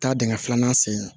Taa dingɛ filanan sen